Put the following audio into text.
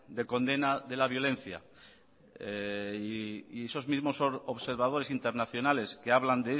de condena de la violencia y esos mismos observadores internacionales que hablan